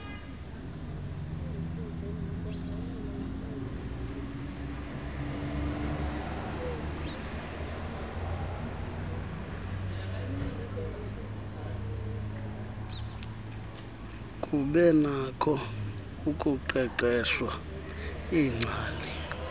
kubenakho ukuqeqeshwa iingcali